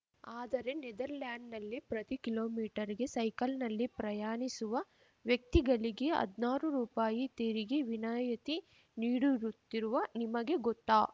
ಆದರೆ ನೆದರ್‌ಲ್ಯಾಂಡ್‌ನಲ್ಲಿ ಪ್ರತೀ ಕಿಲೋಮೀಟರ್ ಗೆ ಸೈಕಲ್‌ನಲ್ಲಿ ಪ್ರಯಾಣಿಸುವ ವ್ಯಕ್ತಿಗಳಿಗೆ ಹದ್ನಾರು ರೂಪಾಯಿ ತೆರಿಗೆ ವಿನಾಯತಿ ನೀಡಡುತ್ತಿರುವ ನಿಮಗೆ ಗೊತ್ತಾ